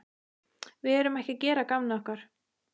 Við erum ekki að gera að gamni okkar.